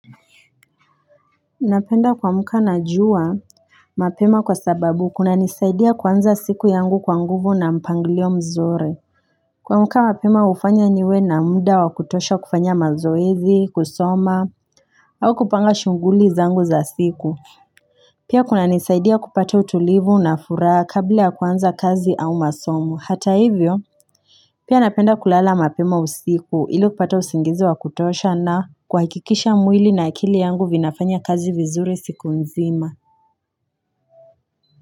Napenda kuamuka na jua mapema kwa sababu kuna nisaidia kuanza siku yangu kwa nguvu na mpanglio mzuri kuamka mapema hufanya niwe na muda wakutosha kufanya mazoezi kusoma au kupanga shughuli zangu za siku Pia kuna nisaidia kupata utulivu na furaha kabla ya kuanza kazi au masomo hata hivyo Pia napenda kulala mapema usiku ili kupata usingizi wa kutosha na kuhakikisha mwili na akili yangu vinafanya kazi vizuri siku nzima.